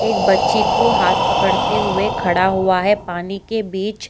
एक बच्ची को हाथ पकड़ते हुए खड़ा हुआ है पानी के बीच।